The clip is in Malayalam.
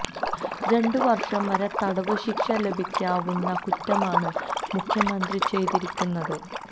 രണ്ട് വര്ഷം വരെ തടവ് ശിക്ഷ ലഭിക്കാവുന്ന കുറ്റമാണ് മുഖ്യമന്ത്രി ചെയ്തിരിക്കുന്നത്